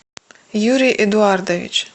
юрий эдуардович